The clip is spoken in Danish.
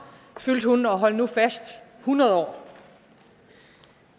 og hold nu fast hundrede år